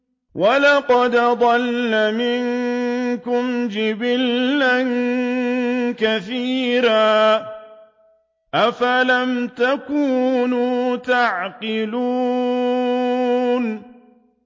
وَلَقَدْ أَضَلَّ مِنكُمْ جِبِلًّا كَثِيرًا ۖ أَفَلَمْ تَكُونُوا تَعْقِلُونَ